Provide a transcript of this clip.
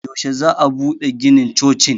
yaushe za a bude ginin chocin